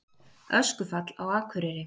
Öskufall á Akureyri